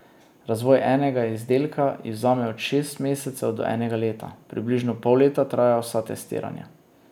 Razvoj enega izdelka ji vzame od šest mesecev do enega leta, približno pol leta trajajo vsa testiranja.